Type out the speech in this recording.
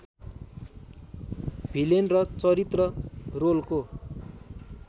villain र चरित्र रोलको